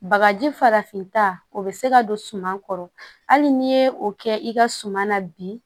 Bagaji farafinta o bɛ se ka don suman kɔrɔ hali n'i ye o kɛ i ka suma na bi